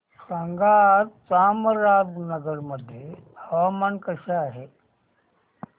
सांगा आज चामराजनगर मध्ये हवामान कसे आहे